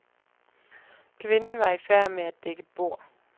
Kvinden var i færd med at dække bord.